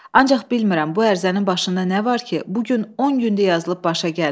Ancaq bilmirəm bu ərizənin başında nə var ki, bu gün 10 gündür yazılıb başa gəlmir.